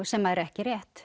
sem er ekki rétt